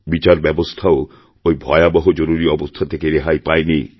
বিচার ব্যবস্থাও ওইভয়াবহ জরুরী অবস্থা থেকে রেহাই পায়নি